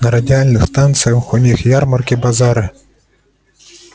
на радиальных станциях у них ярмарки базары